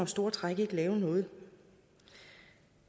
store træk ikke lave noget